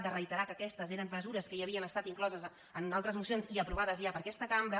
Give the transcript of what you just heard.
freiterar que aquestes eren mesures que ja havien estat incloses en altres mocions i aprovades ja per aquesta cambra